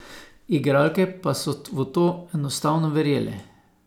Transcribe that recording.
Igralke pa so v to enostavno verjele.